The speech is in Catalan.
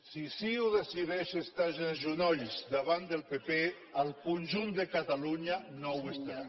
si ciu decideix estar se de genolls davant del pp el conjunt de catalunya no ho està